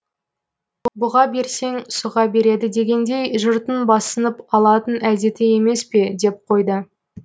бұға берсең сұға береді дегендей жұрттың басынып алатын әдеті емес пе деп қойды